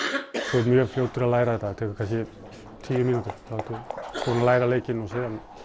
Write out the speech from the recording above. þú ert mjög fljótur að læra þetta það tekur kannski tíu mínútur þá ertu búinn að læra leikinn svo